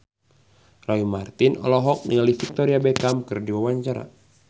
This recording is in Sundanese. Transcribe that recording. Roy Marten olohok ningali Victoria Beckham keur diwawancara